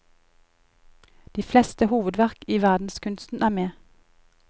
De fleste hovedverk i verdenskunsten er med.